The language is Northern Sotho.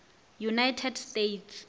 united states